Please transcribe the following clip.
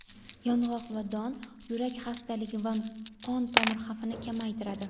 yong‘oq va don – yurak xastaligi va qon tomir xavfini kamaytiradi.